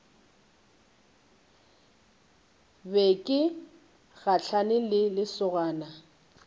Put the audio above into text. be ke gahlane le lesogana